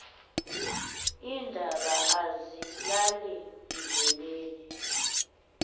iindaba azilali ndleleni